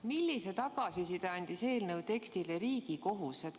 Millise tagasiside andis eelnõu tekstile Riigikohus?